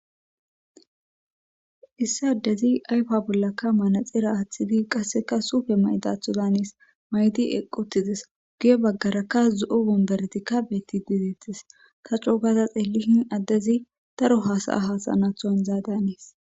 Issi adezi ayfa bollaka manaxir athidi qaseka suupe mayidatho daanesi. I eqi , guye bagaraka zo'o womberetetika beetidi detesi. Ta coo gada xeelishn adezi daro hada'a hasa'anatho haniza daanesi.